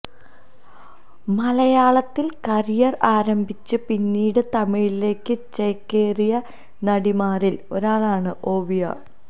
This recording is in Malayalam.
മലയാളത്തില് കരിയര് ആരംഭിച്ച് പിന്നീട് തമിഴിലേക്ക് ചേക്കേറിയ നടിമാരില് ഒരാളാണ് ഓവിയ